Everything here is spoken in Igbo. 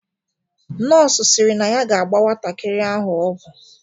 Nọọsụ sịrị na ya ga-agba nwatakịrị ahụ ọgwụ.